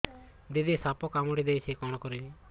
ଦିଦି ସାପ କାମୁଡି ଦେଇଛି କଣ କରିବି